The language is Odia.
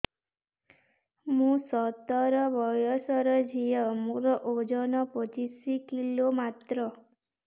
ମୁଁ ସତର ବୟସର ଝିଅ ମୋର ଓଜନ ପଚିଶି କିଲୋ ମାତ୍ର